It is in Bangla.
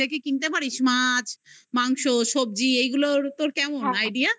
দেখে কিনতে পারিস মাছ. মাংস, সব্জি এগুলোর তোর কেমন idea